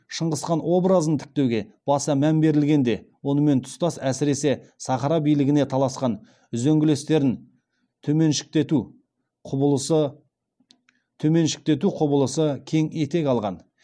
шыңғысхан обыразын тіктеуге баса мән берілгенде онымен тұстас әсіресе сахара билігіне таласқан үзеңгілестерін төменшіктету құбылысы кең етек алған